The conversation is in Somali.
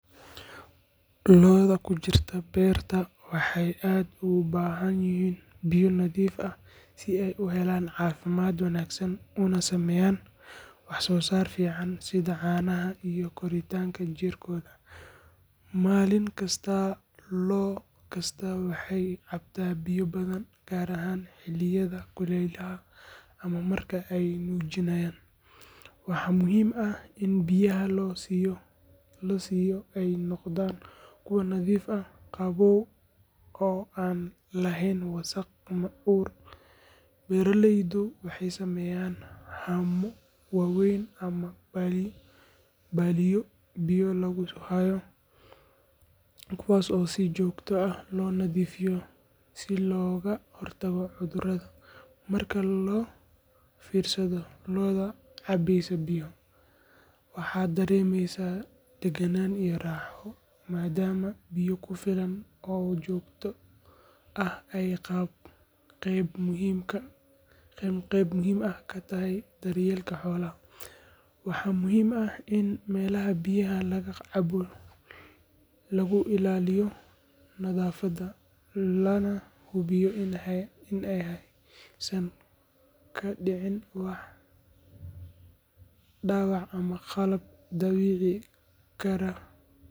Lo’da ku jirta beerta waxay aad ugu baahan yihiin biyo nadiif ah si ay u helaan caafimaad wanaagsan una sameeyaan wax soo saar fiican sida caanaha iyo koritaanka jirkooda. Maalin kasta lo’ kastaa waxay cabtaa biyo badan, gaar ahaan xilliyada kulaylaha ama marka ay nuujinayaan. Waxaa muhiim ah in biyaha la siiyo ay noqdaan kuwo nadiif ah, qabow oo aan lahayn wasakh ama ur. Beeraleydu waxay sameeyaan haamo waaweyn ama balliyo biyo lagu hayo, kuwaas oo si joogto ah loo nadiifiyo si looga hortago cudurrada. Marka loo fiirsado lo’da cabeysa biyo, waxaad dareemaysaa daganaan iyo raaxo, maadaama biyo ku filan oo joogto ah ay qayb muhiim ah ka tahay daryeelka xoolaha. Waxaa muhiim ah in meelaha biyaha laga cabbo lagu ilaaliyo nadaafadda, lana hubiyo in aysan ka dhicin wax dhaawac ama qalab dhaawici kara xoolaha.